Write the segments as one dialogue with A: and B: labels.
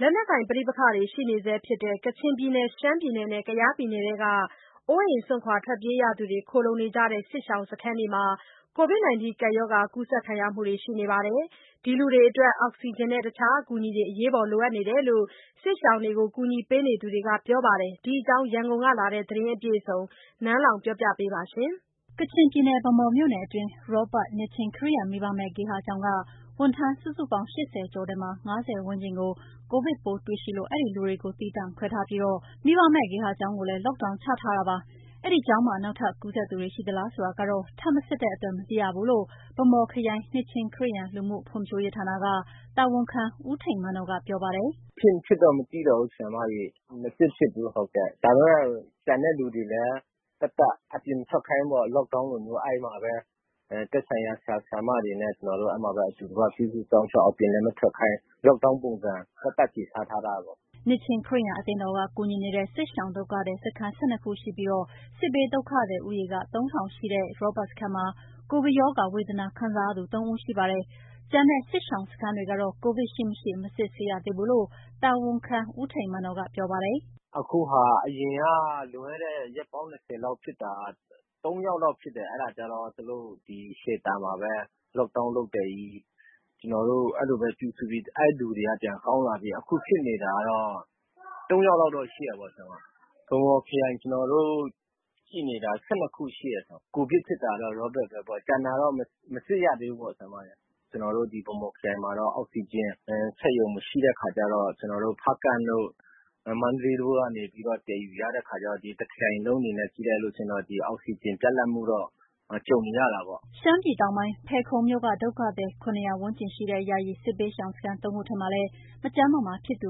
A: လက်နက်ကိုင်ပဋိပက္ခတွေရှိနေဆဲဖြစ်တဲ့ ကချင်၊ ရှမ်းနဲ့ ကယားပြည်နယ်ထဲက အိုးအိမ်စွန့်ထွက်ပြေးရသူတွေ ခိုလှုံနေကြတဲ့ စစ်ရှောင်စခန်းတွေမှာ COVID-19 ရောဂါကူးစက်ခံရသူတွေ ရှိနေပါတယ်။ ဒီလူတွေအတွက် အောက်ဆီဂျင်နဲ့ တခြားအကူအညီတွေ အရေးပေါ်လိုအပ်နေတယ်လို့ စစ်ရှောင်တွေကို အကူအညီပေးနေသူတွေကပြောပါတယ်။ ဒီအကြောင်း ရန်ကုန်ကလာတဲ့ သတင်းအပြည့်အစုံကို နန်းလောင်ဝ်က ပြောပြပါမယ်။ ကချင်ပြည်နယ်၊ ဗန်းမော်မြို့နယ်အတွင်း ရောဘတ် နှစ်ခြင်းခရစ်ယာန် မိဘမဲ့ဂေဟာကျောင်းက ဝန်ထမ်း စုစုပေါင်း ၈၀ ကျော်ထဲမှာ ၅၀ ဝန်းကျင် ကိုဗစ်ပိုးတွေ့ရှိလို့ အဲ့ဒီလူတွေကို သီးသန့်ခွဲထားပြီး မိဘမဲ့ဂေဟာကျောင်းကို Lock down ချထားတာပါ။ အဲဒီကျောင်းမှာ နောက်ထပ်ကူးစက်သူတွေ ရှိသလားဆိုတာတော့ ထပ်မစစ်တဲ့အတွက် မသိရဘူးလို့ ဗန်းမော်ခရိုင်၊ နှစ်ခြင်းခရစ်ယာန် လူမှုဖွံဖြိုးရေးဌာန တာဝန်ခံ ဦးထိန်မန်နော်ကပြောပါတယ်။
B: “ဖြစ်မဖြစ်တော့ မသိတော့ဘူး၊ မစစ်ဖြစ်ဘူး၊ ဒါပေမယ့် ကျန်တဲ့လူတွေလည်း သက်သက်အပြင်မထွက်ခိုင်းဘူးပေ့ါ Lock down လိုမျိုး အဲ့မှာပဲ သက်ဆိုင်ရာ ဆရာ ဆရာမတွေနဲ့ ကျနော်တို့ အဲ့မှာပဲ အတူတကွပြုစုစောင့်ရှောက် အပြင်လည်းမထွက်ခိုင်း Lock down ပုံစံ သက်သက်ဆီထားထားတယ်”
A: နှစ်ခြင်းခရစ်ယာန်အသင်းတော်က ကူညီနေတဲ့ စစ်ရှောင်ဒုက္ခသည်စခန်း ၁၂ ခုရှိပြီး စစ်ဘေးဒုက္ခသည် ဦးရေ ၃,၀၀၀ ရှိတဲ့ ရောဘတ်စခန်းမှာ ကိုဗစ်ရောဂါဝေဒနာခံနေရသူ ၃ဦးရှိပါတယ်။ ကျန်တဲ့ စစ်ရှောင်စခန်းတွေကတော့ ကိုဗစ်ရှိမရှိ မစစ်ဆေးရသေးဘူးလို့ တာဝန်ခံ ဦးထိန်မန်နော်က ပြောပါတယ်
B: ။ “အခုဟာ အရင်ကလွန်ခဲ့တဲ့ ရက်ပေါင်း ၂၀ လောက်ဖြစ်တာ သုံးယောက်လောက်ဖြစ်တယ်၊ အဲ့ဒါကျတော့ သူတို့ စင်တာမှာပဲ Lock down တာ ကျနော်တို့ အဲ့လိုပဲပြုစုပြီး အဲ့လူတွေက ပြန်ကောင်းလာပြီး အခုဖြစ်နေတာတော့ ၃ ယောက်တော့ရှိတာပေါ့၊ ဗန်းမော်ခရိုင် ကျနော်တို့ ကြည့်နေတာ (စစ်ရှောင်စခန်း) ၁၂ ခုရှိတယ်၊ ကိုဗစ်ဖြစ်တာက ရောဘတ်ပဲပေါ့ ကျန်တာတော့ မစစ်ရသေးဘူးပေါ့။ ကျနော်တို့ ဒီဗန်းမော်ခရိုင်မှာတော့ အောက်ဆီဂျင်စက်ရုံမရှိတဲ့ အခါကျတော့ ကျနော်တို့ ဖားကန့်တို့ မန္တလေးတို့ကနေပြီးတော့ သယ်ယူရတဲ့ အခါကျတော့ တခရိုင်လုံးအနေနဲ့ ကြည့်လိုက်လို့ရှိရင် ဒီအောက်ဆီဂျင် ပြတ်လပ်မှုတော့ ကြုံနေရတာပေါ့။
A: ” ရှမ်းပြည်တောင်ပိုင်း၊ ဖယ်ခုံမြို့က ဒုက္ခသည် ၇၀၀ ဝန်းကျင်ရှိတဲ့ ယာယီစစ်ဘေးရှောင်စခန်း သုံးခုထဲမှာလည်း မကျန်းမမာဖြစ်သူ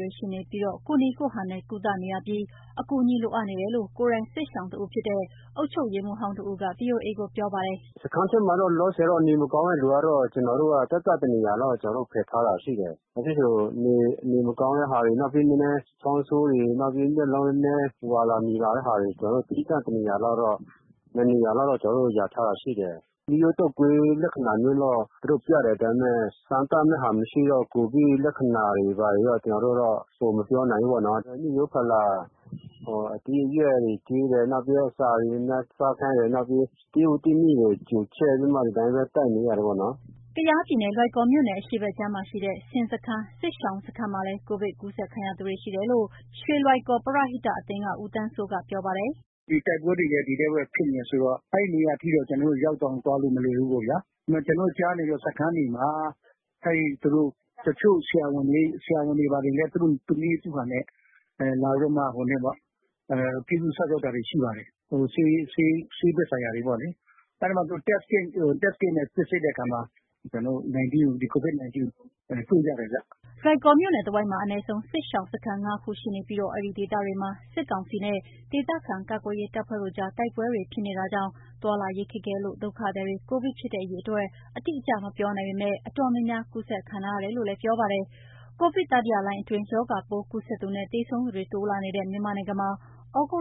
A: တွေရှိနေပြီး ကိုယ့်နည်းကိုယ့်ဟန်နဲ့ ကုသနေရပြီးတော့ အကူအညီလိုအပ်နေတယ်လို့ ကိုယ်တိုင်က စစ်ရှောင်တဦးဖြစ်တဲ့ အုပ်ချုပ်ရေးမှူးဟောင်းတဦးက ဗွီအိုအေကိုပြောပါတယ်။
C: “စခန်းထဲမှာတော့ လောလောဆယ် နေမကောင်းတဲ့လူကတော့ ကျနော်တို့ သက်သက်တနေရာလောက်ကျနော်တို့ ဖယ်ထားတာရှိတယ်။ ဘာဖြစ်လည်းဆိုတော့ နေမကောင်းတဲ့ဟာတွေ နောက် နည်းနည်းချောင်းဆိုးတယ် နောက်ပြီး မျက်လုံး ဝါတာ နီတဲ့ဟာတွေ ကျနော်တို့ သီးသန့် တနေရာ နှစ်နေရာလောက်တော့ ကျနော်တို့ လျာထားတာရှိတယ်။ ရိုးရိုး တုပ်ကွေးလက္ခဏာမျိုးတော့ သူတို့ပြတယ်၊ ဒါပေမယ့် စမ်းသပ်တဲ့ဟာမရှိတော့ ကိုဗစ်လက္ခဏာတို့ ဘာတွေ ကျနော်တို့တော့ မပြောနိုင်ဘူးပေါ့နော်။ မိရိုးဖလာ အသီးအရွက်တွေကျွေးတယ်၊ နောက်ပြီးတော့ အစာတွေ များများစားခိုင်းတယ် နောက် သစ်ရွက်သစ်မြစ်တွေ ကျိုချက်ပြီးမှ ဒီတိုင်းပဲ တိုက်နေရတယ်ပေါ့နော်။
A: ” ကယား (ကရင်နီ) ပြည်နယ်၊ လွိုင်ကော်မြို့နယ် အရှေ့ဘက်ခြမ်းမှာရှိတဲ့ ဆင်စခန်း၊ စစ်ရှောင်စခန်းမှာလည်း ကိုဗစ်ကူးစက်ခံရသူတွေရှိတယ်လို့ ရွှေလွိုင်ကော် (ကယား) ပရဟိတအသင်းက ဦးသန်းစိုးက ပြောပါတယ်။
D: “ဒီတိုက်ပွဲတွေရဲ့ ဒီထဲမှာပဲ ဖြစ်နေတယ်ဆိုတော့ အဲ့နေရာထိတော့ ကျနော်တို့ ရောက်အောင်သွားလို့မလွယ်ဘူးပေါ့ဗျာ၊ ဒါပေမယ့် ကျနော်တို့ ကြားနေတော့ စခန်းမှာ အဲ့သူတို့ တချို့ဆရာဝန်တွေ ဘာတွေလည်း သူ့နည်းသူဟန်နဲ့ လာပြီးတော့မှ ပြုစုရှောင့်စောင့်တာတွေ ရှိပါတယ်၊ ဆေးဘက်ဆိုင်ရာတွေပေါ့လေး၊ အဲ့ဒီမှာ သူတို့ Test Kit နဲ့ စစ်ဆေးတဲ့အခါမှာ ကျနော်တို့ ဒီ COVID-19 ကို တွေ့ကြတယ်ဗျ”
A: လွိုင်ကော်မြို့နယ်တဝိုက်မှာ အနည်းဆုံး စစ်ရှောင်စခန်း ၅ ခုရှိပြီး အဲ့ဒီဒေသတွေမှာ စစ်ကောင်စီနဲ့ ဒေသခံကာကွယ်ရေးတပ်ဖွဲ့တို့ကြား တိုက်ပွဲဖြစ်နေတာကြောင့် သွားလာရေးခက်ခဲလို့ ဒုက္ခသည်တွေ ကိုဗစ်ဖြစ်တဲ့ အရေအတွက် အတိအကျ မပြောနိုင်ပေမယ့် တော်တော်များများ ကူးစက်ခံထားရတယ်လို့ ပြောပါတယ်။ ကိုဗစ်တတိယလှိုင်းအတွင်း ရောဂါပိုး ကူးစက်သူနဲ့ သေဆုံးသူတွေ တိုးလာနေတဲ့ မြန်မာနိုင်ငံမှာ သြဂုတ်